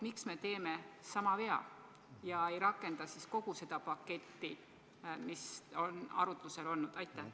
Miks me teeme sama vea ega rakenda kogu seda paketti, mis on arutlusel olnud?